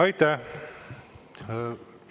Aitäh!